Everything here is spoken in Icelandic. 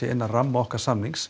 innan ramma okkar samnings